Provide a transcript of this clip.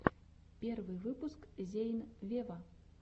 первый выпуск зейн вево